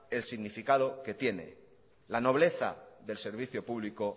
el significado que tiene la nobleza del servicio público